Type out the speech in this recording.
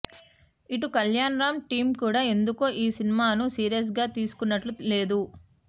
ఇటు కళ్యాణ్ రామ్ టీమ కూడా ఎందుకో ఈ సినిమాను సీరియస్ గా తీసుకున్నట్లు లేదు